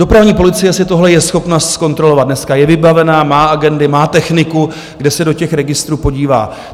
Dopravní policie si tohle je schopna zkontrolovat dneska, je vybavená, má agendy, má techniku, kde se do těch registrů podívá.